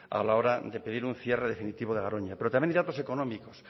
a la hora de pedir un cierre definitivo de garoña pero también hay datos económicos